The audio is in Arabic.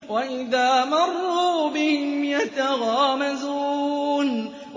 وَإِذَا مَرُّوا بِهِمْ يَتَغَامَزُونَ